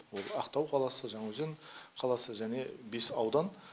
ол ақтау қаласы жаңаөзен қаласы және бес аудан